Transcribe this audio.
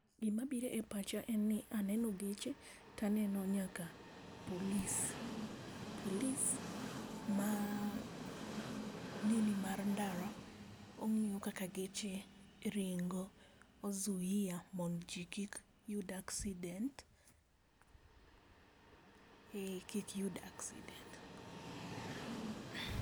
Gima biro e pacha en ni aneno geche taneno nyaka polis. Polis ma nini mar ndara, ongiyo kaka geche ringo, ozuia mondo jii kik yud accident, eeh, kik yud accident